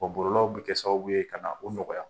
Bɔlɔlɔw bɛ kɛ sababu ye ka na o nɔgɔya